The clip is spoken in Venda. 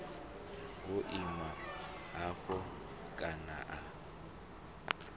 wo ima hafho kani a